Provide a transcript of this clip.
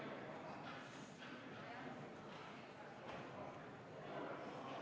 Ilusat päeva!